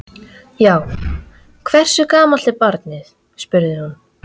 Já, hversu gamalt er barnið? spurði hún.